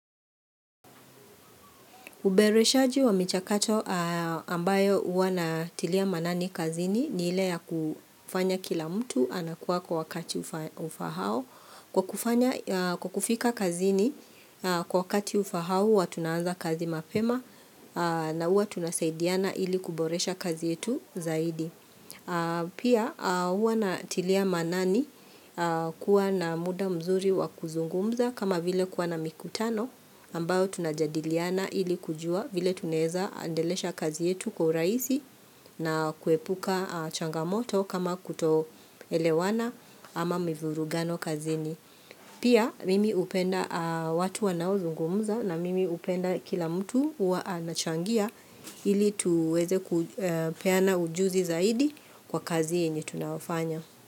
Uboreshaji wa michakato ambayo huwa ninatilia manani kazini ni ile ya kufanya kila mtu anakuwa kwa wakati ufahao. Kwa kufanya kwa kufika kazini kwa wakati ufahao huwa tunaanza kazi mapema na huwa tunasaidiana ili kuboresha kazi yetu zaidi. Pia huwa na tilia manani kuwa na muda mzuri wakuzungumza kama vile kuwa na mikutano ambayo tunajadiliana ili kujua vile tunaweza endelesha kazi yetu kwa urahisi na kuepuka changamoto kama kuto elewana ama mivurugano kazini. Pia mimi hupenda watu wanao zungumza na mimi hupenda kila mtu huwa anachangia ili tuweze kupeana ujuzi zaidi kwa kazi yenye tunayofanya.